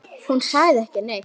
Hún sagði ekki neitt.